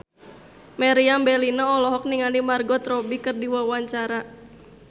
Meriam Bellina olohok ningali Margot Robbie keur diwawancara